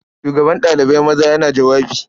Shugaban ɗalibai maza yana jawabi.